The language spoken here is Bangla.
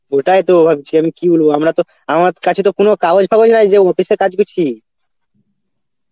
ওটাই তো ভাবছি আমি কি বলবো আমরা তো আমার কাছে তো কোন কাগজ ফাগজ নাই যে office এ কাজ করছি